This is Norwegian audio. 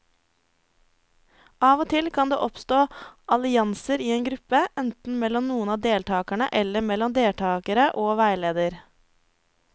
Av og til kan det oppstå allianser i en gruppe, enten mellom noen av deltakerne eller mellom deltakere og veileder.